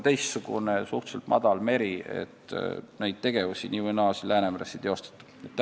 See on suhteliselt madal meri, seega neid tegevusi siin ei ole nii või naa.